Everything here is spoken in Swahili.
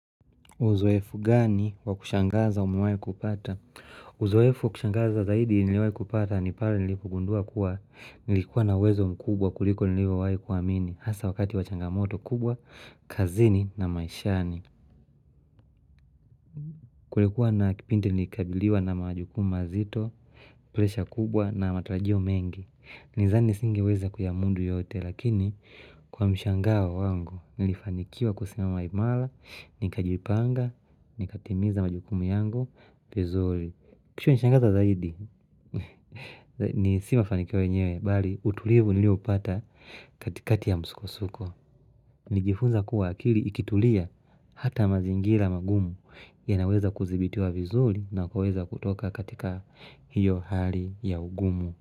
Uzoefu gani wakushangaza umuwai kupata? Uzoefu wa kushangaza zaidi niliwai kupata ni pale nilikogundua kuwa nilikuwa na uwezo mkubwa kuliko nilikowai kuamini. Hasa wakati wachangamoto kubwa, kazini na maishani. Kulikuwa na kipindi nilikabiliwa na majukumu mazito, presha kubwa na matarajio mengi. Nizani singeweza kuyamudu yote lakini kwa mshangao wangu nilifanikiwa kusimama imara, nikajipanga, nikatimiza majukumu yangu. Vizuri, kishaa nishangaza zaidi, ni si mafanikio yenyewe, bali utulivu nilio upata katikati ya msukosuko Nijifunza kuwa akili ikitulia hata mazingira magumu yanaweza kuzibitiwa vizuri na kuweza kutoka katika hiyo hali ya ugumu.